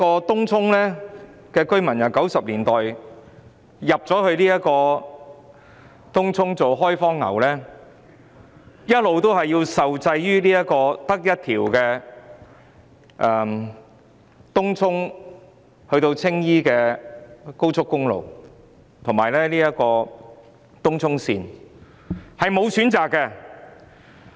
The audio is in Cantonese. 東涌居民由1990年代開始遷入作開荒牛，一直受制於唯一一條連接東涌至青衣的高速公路及東涌綫，別無他選。